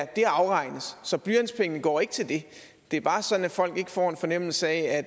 det afregnes så blyantspengene går ikke til det det er bare sådan at folk ikke får en fornemmelse af